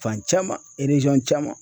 Fan caman caman.